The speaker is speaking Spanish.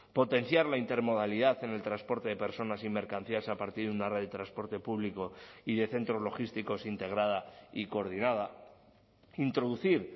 potenciar la intermodalidad en el transporte de personas y mercancías a partir de una red de transporte público y de centros logísticos integrada y coordinada introducir